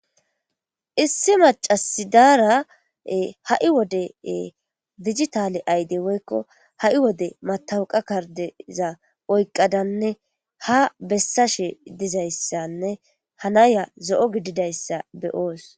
Issi macc'asi dara Ee ha' wode digitale ayide woykko ha' wode matawaka kardde gizayssa oyikadanne ha besashe dizayssa oyikadanne ha Naya zo'o giddidayssa be'ayis.